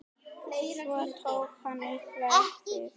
Svo tók hann upp veskið.